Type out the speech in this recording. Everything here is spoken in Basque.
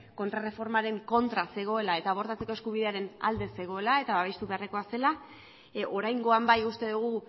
kontrarreformaren kontra zegoela eta abortatzeko eskubidearen alde zegoela eta babestu beharrekoa zela oraingoan bai uste dugu